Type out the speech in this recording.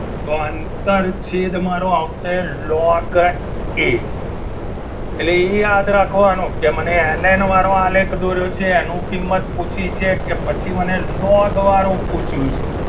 તો આંતર છેદ મારો આવશે લોગ એ એટલે એ યાદ રાખવાનું કે મને એલ એન વાળું આલેખ દોર્યો છે એનું કિંમત પૂછ્યું છે કે પછી મને લોક વાળું પૂછ્યું છે.